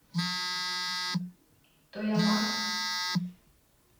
тоямарф